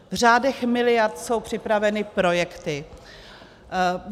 V řádech miliard jsou připraveny projekty.